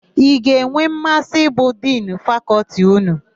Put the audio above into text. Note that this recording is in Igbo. Ị ga-enwe mmasị ịbụ Dinu Fakọltị ụnụ?